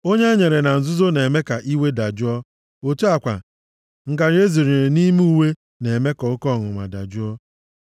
Onyinye enyere na nzuzo na-eme ka iwe dajụọ, otu a kwa, ngarị ezonyere nʼime uwe na-eme ka oke ọnụma dajụọ.